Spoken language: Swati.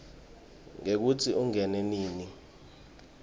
ngekutsi ungene nini